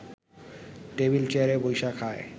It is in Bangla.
টেবিল চেয়ারে বইসা খায়